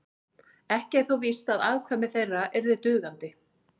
ekki er þó víst að afkvæmi þeirra yrðu dugandi